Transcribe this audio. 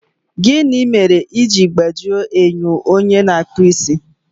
Gịnị mere i ji gbajie enyo onye na-akpụ isi?